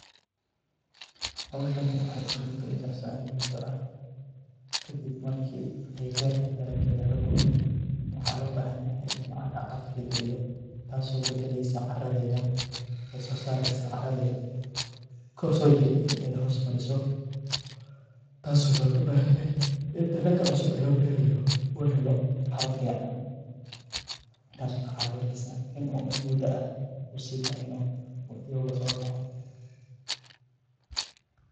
Howshan waxay isku beddeli kartaa in muddo ah kadib markii beerta dalagga laga guro. Waxa loo baahan yahay in cagaf-cagaf la geliyo, taas oo beddesho carradeeda, ee soo saarto carradii kor u soo jirtay in ay hoos mariso. Taas oo laga baahan yahay in dalagga cusub ee la beerayo uu helo carro fiican, taas oo ka caawinayso inuu in muddo ah u sii dheehano oo caga-dhigto oo uga soo baxo.